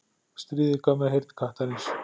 Stríðið gaf mér heyrn kattarins.